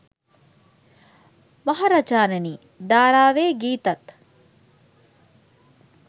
මහරජාණෙනි ධාරාවේ ගීතත්